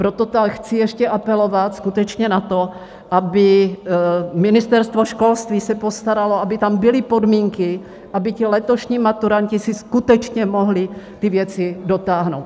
Proto chci ještě apelovat skutečně na to, aby Ministerstvo školství se postaralo, aby tam byly podmínky, aby ti letošní maturanti si skutečně mohli ty věci dotáhnout.